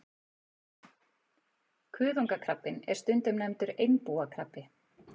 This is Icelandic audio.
Kuðungakrabbinn er stundum nefndur einbúakrabbi.